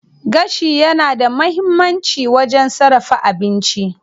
Gashi yana da muhimmanci wajen sarrafa abinci.